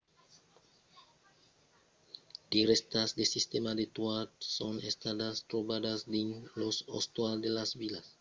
de rèstas de sistèmas de toat son estadas trobadas dins los ostals de las vilas minoanas de crèta e de santorin en grècia